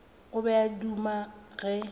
o be a duma ge